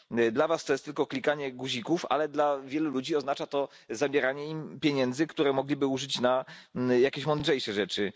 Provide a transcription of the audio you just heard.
Dla Was to jest tylko przyciskanie guzików, ale dla wielu ludzi oznacza to zabieranie im pieniędzy, które mogliby wykorzystać na jakieś mądrzejsze rzeczy.